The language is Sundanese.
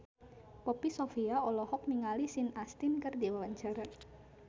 Poppy Sovia olohok ningali Sean Astin keur diwawancara